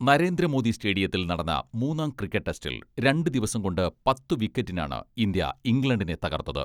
നരേന്ദ്രമോദി സ്റ്റേഡിയത്തിൽ നടന്ന മൂന്നാം ക്രിക്കറ്റ് ടെസ്റ്റിൽ രണ്ടു ദിവസം കൊണ്ട് പത്തു വിക്കറ്റിനാണ് ഇന്ത്യ ഇംഗ്ലണ്ടിനെ തകർത്തത്.